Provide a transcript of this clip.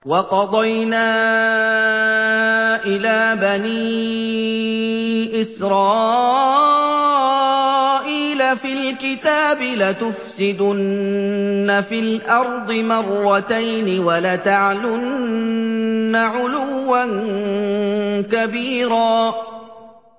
وَقَضَيْنَا إِلَىٰ بَنِي إِسْرَائِيلَ فِي الْكِتَابِ لَتُفْسِدُنَّ فِي الْأَرْضِ مَرَّتَيْنِ وَلَتَعْلُنَّ عُلُوًّا كَبِيرًا